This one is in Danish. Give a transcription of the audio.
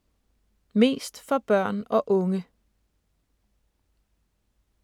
Mest for børn og unge